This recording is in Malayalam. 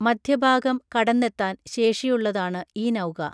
മധ്യഭാഗം കടന്നെത്താൻ ശേഷിയുള്ളതാണ് ഈ നൗക